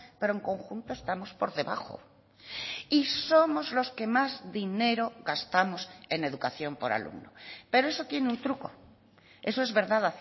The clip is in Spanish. pero en conjunto estamos por debajo y somos los que más dinero gastamos en educación por alumno pero eso tiene un truco eso es verdad